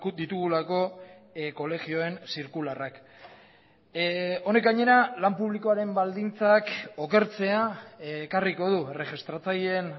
ditugulako kolegioen zirkularrak honek gainera lan publikoaren baldintzak okertzea ekarriko du erregistratzaileen